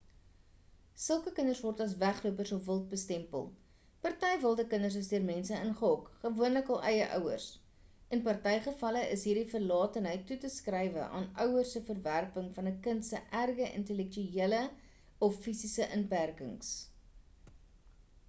sulke kinders word as weglopers of wild bestempel. party wilde kinders is deur mense ingehok gewoonlik hul eie ouers; in party gevalle is hierdie verlatenheid toe te skrywe aan ouers se verwerping van 'n kind se erge intellektuele of fisiese inperkings